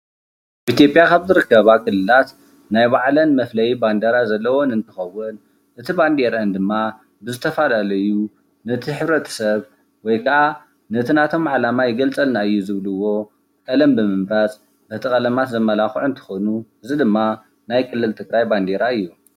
ኢትዮጵያ ካብ ዝርከባ ክልላት ናይ ባዕለን መፍለዪ ባንዴራ ዘለወን እንትኸውን እቲ ባዴረአን ድማ ብዝተፈላለዩ ነቲ ሕብረተሰብ ወይከኣ ነቲ ናቶም ዓላማ ይገልፀልና እዩ ዝብልዎ ቀለም ብምምራፅ ነቲ ቀለማት ዘመላኽዑ እንትኾኑ እዚ ድማ ናይ ክልል ትግራይ ባንዴራ እዩ፡፡